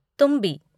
तुम्बी